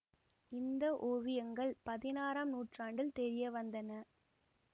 இந்த ஓவியங்கள் பதினாறாம் நூற்றாண்டில் தெரியவந்தன